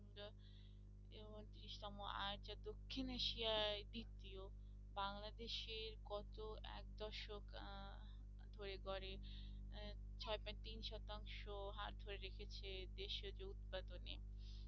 দক্ষিণ এশিয়ায় দিত্বিয় বাংলাদেশে গত একদশক আহ ছয় point তিন শতাংশ রেখেছে